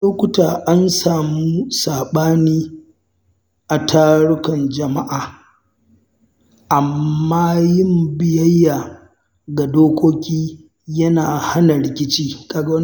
lokuta, ana samun saɓani a tarukan jama’a, amma yin biyayya ga dokoki yana hana rikici ga wannan